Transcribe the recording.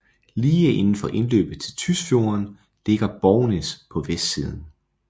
Lige indenfor indløbet til Tysfjorden ligger Bognes på vestsiden